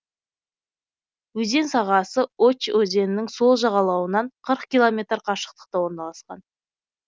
өзен сағасы очь өзенінің сол жағалауынан километр қашықтықта орналасқан